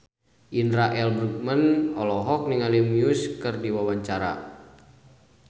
Indra L. Bruggman olohok ningali Muse keur diwawancara